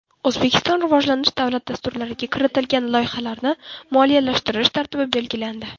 O‘zbekiston rivojlanish davlat dasturlariga kiritilgan loyihalarni moliyalashtirish tartibi belgilandi.